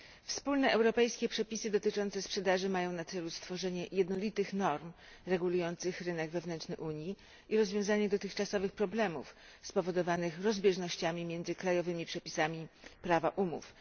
Wspólne europejskie przepisy dotyczące sprzedaży mają na celu stworzenie jednolitych norm regulujących rynek wewnętrzny Unii i rozwiązanie dotychczasowych problemów spowodowanych rozbieżnościami między krajowymi przepisami prawa umów.